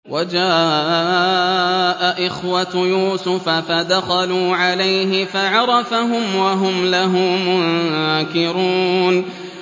وَجَاءَ إِخْوَةُ يُوسُفَ فَدَخَلُوا عَلَيْهِ فَعَرَفَهُمْ وَهُمْ لَهُ مُنكِرُونَ